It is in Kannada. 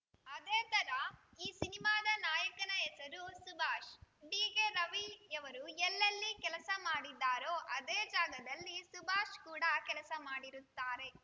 ಅದೇ ಥರ ಈ ಸಿನಿಮಾದ ನಾಯಕನ ಹೆಸರು ಸುಭಾಷ್‌ ಡಿಕೆ ರವಿಯವರು ಎಲ್ಲೆಲ್ಲಿ ಕೆಲಸ ಮಾಡಿದ್ದರೋ ಅದೇ ಜಾಗದಲ್ಲಿ ಸುಭಾಷ್‌ ಕೂಡ ಕೆಲಸ ಮಾಡಿರುತ್ತಾರೆ